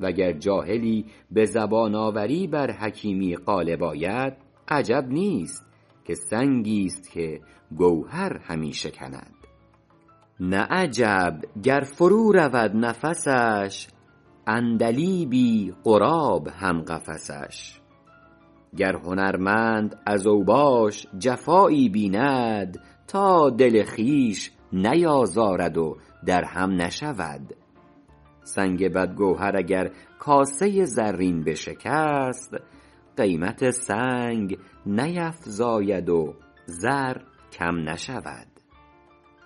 وگر جاهلی به زبان آوری بر حکیمی غالب آید عجب نیست که سنگی ست که گوهر همی شکند نه عجب گر فرو رود نفسش عندلیبی غراب هم قفسش گر هنرمند از اوباش جفایی بیند تا دل خویش نیازارد و در هم نشود سنگ بد گوهر اگر کاسه زرین بشکست قیمت سنگ نیفزاید و زر کم نشود